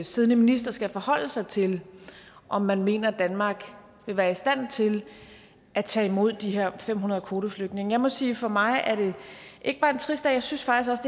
siddende minister skal forholde sig til om man mener danmark vil være i stand til at tage imod de her fem hundrede kvoteflygtninge jeg må sige at for mig er det ikke bare en trist dag jeg synes faktisk